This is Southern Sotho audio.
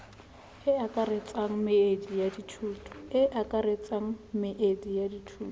e akaretsang meedi ya dithuto